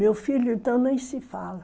Meu filho, então, nem se fala.